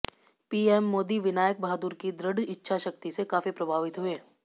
PM Modi Vinayak Bahadur की दृढ़ इच्छाशक्ति से काफी प्रभावित हुए